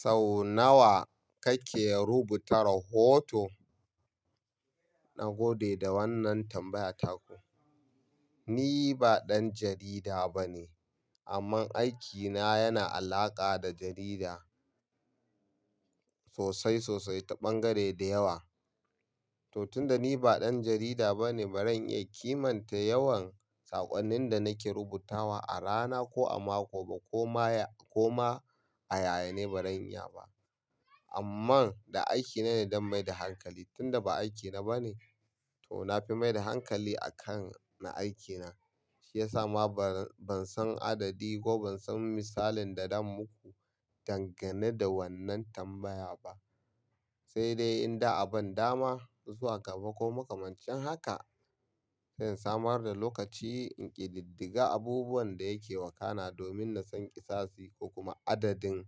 Sau nawa kake rubuta rahoto? Na gode da wannan tambaya taku. Ni ba ɗan jarida bane, amma aikina yana alaƙa da jarida sosai sosai ta ɓangare da yawa. To tun da ni ba ɗan jarida bane, ba ran iya kimanta yawan saƙonnin da nake rubutawa a rana ko a mako ba ko ma ya, ko ma a yayane ba ran iya ba. Amman da aikina ne zan mai da hankali tun da ba aikina bane. To na fi mai da hankali a kan na aikina, shi ya sa ma ba, ban san adadi ko ban san misalin da dan muku dangane da wannan tambaya ba. Sai dai in da a ban dama zuwa gaba ko makamancin haka, zan samar da lokaci in ƙididdiga abubuwan da yake wakana domin na san ƙisasi ko kuma adadin